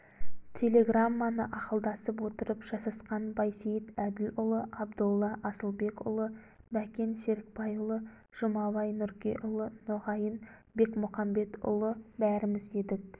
телеграмманы ақылдасып отырып жасасқан байсейіт әділұлы абдолла асылбекұлы бәкен серікбайұлы жұмабай нұркеұлы нұрғайын бекмұқамбетұлы бәріміз едік